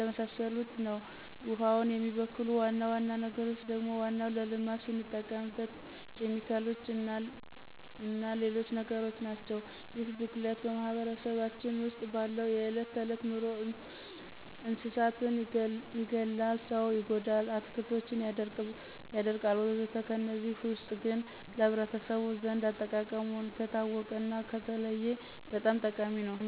ለመሳሰሉት ነው። ውሃውን የሚበክሉ ዋና ዋና ነገሮች ደግሞ ዋናው ለልማት ስንጠቀምበት ኬሚካሎችና ሌሎች ነገሮችናቸው። ይህ ብክለት በማህበረሰባችን ውስጥ ባለው የዕለት ተዕለት ኑሮ እንስሳትን ይገላል፣ ሰው ይጎዳል፣ አትክልቶችን ያደርቃልወዘተ ከነዚህ ውስጥ ግን ለህብረተሰቡ ዘንድ አጠቃቀሙን ከታወቀና ከተለየ በጣም ጠቃሚ ነው።